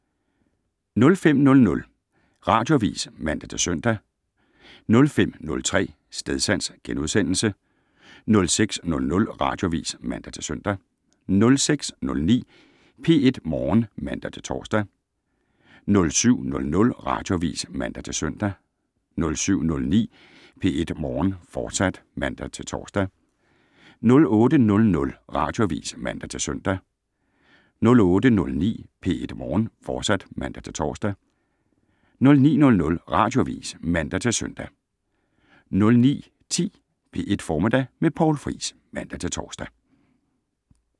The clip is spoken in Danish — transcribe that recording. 05:00: Radioavis (man-søn) 05:03: Stedsans * 06:00: Radioavis (man-søn) 06:09: P1 Morgen (man-tor) 07:00: Radioavis (man-søn) 07:09: P1 Morgen, fortsat (man-tor) 08:00: Radioavis (man-søn) 08:09: P1 Morgen, fortsat (man-tor) 09:00: Radioavis (man-søn) 09:10: P1 Formiddag med Poul Friis (man-tor)